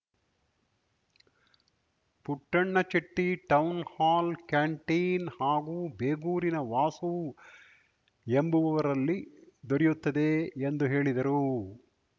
Puttanna Chetty town hall canteen ಹಾಗೂ ಬೇಗೂರಿನ ವಾಸು ಎಂಬುವವರಲ್ಲಿ ದೊರೆಯುತ್ತದೆ ಎಂದು ಹೇಳಿದರು